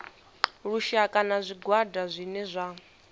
lushaka na zwigwada zwine zwa